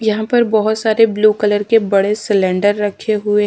यहां पर बहुत सारे ब्लू कलर के बड़े सिलेंडर रखे हुए--